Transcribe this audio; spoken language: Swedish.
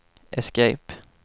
escape